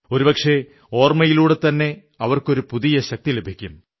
ഒരുപക്ഷേ ഓർമ്മിയിലൂടെത്തന്നെ അവർക്കൊരു പുതിയ ശക്തി ലഭിക്കും